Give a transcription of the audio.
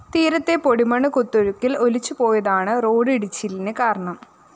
തീരത്തെ പൊടിമണ്ണ് കുത്തൊഴുക്കില്‍ ഒലിച്ചുപോയതാണ് റോഡ്‌ ഇടിച്ചിലിന് കാരണം